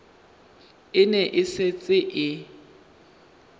e ne e setse e